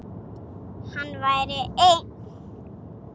Hann væri einn.